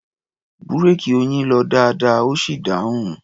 Búréèkì Oyin lọ dáadáa, ó sì dáhùn.